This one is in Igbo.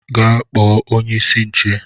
Gaa kpọ onye-isi nche.!